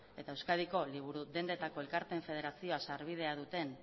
eta euskadiko liburu dendetako elkarteen federazioa sarbidea duten